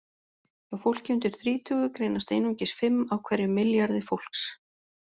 Hjá fólki undir þrítugu greinast einungis fimm af hverjum milljarði fólks.